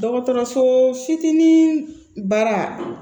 Dɔgɔtɔrɔso fitinin baara